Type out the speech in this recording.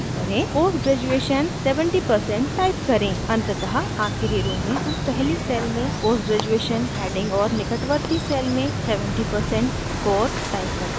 अंततः आखिरी row में हम पहली cell में post graduation heading और निकटवर्ती cell में 70 percent score type करते हैं